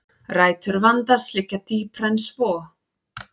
Rætur vandans liggja dýpra en svo